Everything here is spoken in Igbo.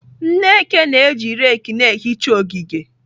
Nneke na-eji rake na-ehicha ogige.